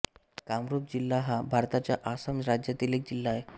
कामरूप जिल्हा हा भारताच्या आसाम राज्यातील एक जिल्हा आहे